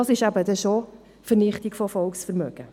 Das ist dann eben schon Vernichtung von Volksvermögen.